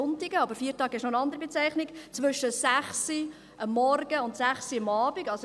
an Sonntagen, aber «Feiertag» ist noch eine andere Bezeichnung – zwischen 6 Uhr morgens und 18 Uhr abends offen haben.